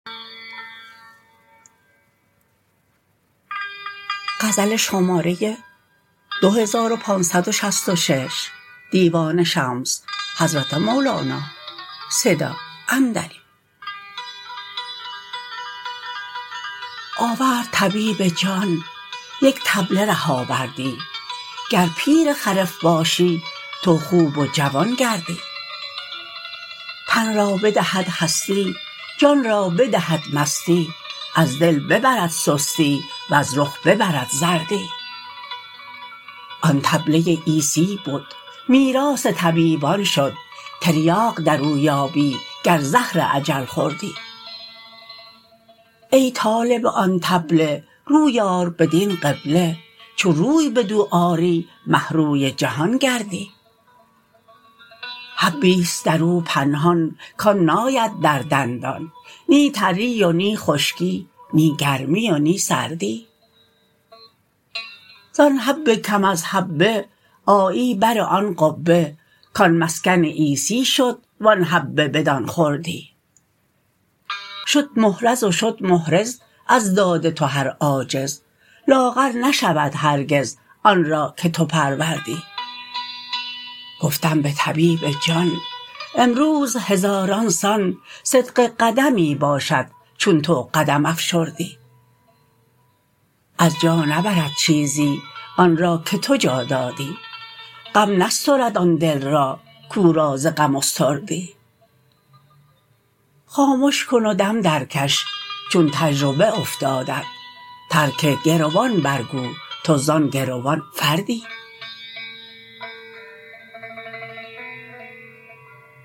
آورد طبیب جان یک طبله ره آوردی گر پیر خرف باشی تو خوب و جوان گردی تن را بدهد هستی جان را بدهد مستی از دل ببرد سستی وز رخ ببرد زردی آن طبله عیسی بد میراث طبیبان شد تریاق در او یابی گر زهر اجل خوردی ای طالب آن طبله روی آر بدین قبله چون روی بدو آری مه روی جهان گردی حبی ست در او پنهان کان ناید در دندان نی تری و نی خشکی نی گرمی و نی سردی زان حب کم از حبه آیی بر آن قبه کان مسکن عیسی شد و آن حبه بدان خردی شد محرز و شد محرز از داد تو هر عاجز لاغر نشود هرگز آن را که تو پروردی گفتم به طبیب جان امروز هزاران سان صدق قدمی باشد چون تو قدم افشردی از جا نبرد چیزی آن را که تو جا دادی غم نسترد آن دل را کو را ز غم استردی خامش کن و دم درکش چون تجربه افتادت ترک گروان برگو تو زان گروان فردی